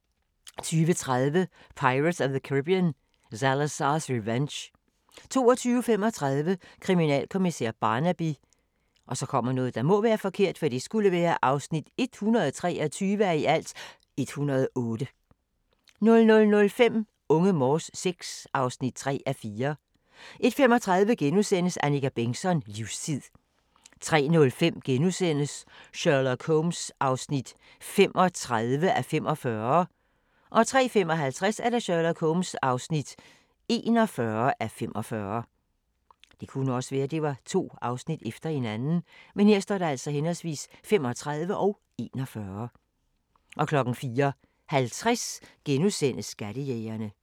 20:30: Pirates of the Caribbean: Salazar's Revenge 22:35: Kriminalkommissær Barnaby (123:108) 00:05: Unge Morse VI (3:4) 01:35: Annika Bengtzon: Livstid * 03:05: Sherlock Holmes (35:45)* 03:55: Sherlock Holmes (41:45) 04:50: Skattejægerne *